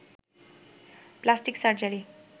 plastic surgery